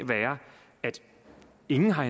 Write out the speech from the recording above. ingen har